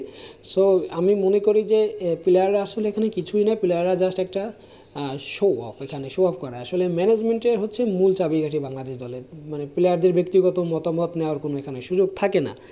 so আমি মনে করি যে player আসলে কিছুই না player রা just একটা show off । এখানে show off করে আসলে management হচ্ছে মূল চাবিকাঠি বাংলা দেশ দলের মানে player দের ব্যক্তিগত মতামত নেওয়ার কোনো সুযোগ থাকে না।